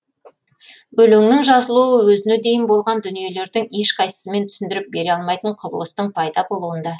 өлеңнің жазылуы өзіне дейін болған дүниелердің ешқайсысымен түсіндіріп бере алмайтын құбылыстың пайда болуында